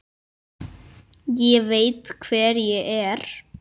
Ég veit hver ég er.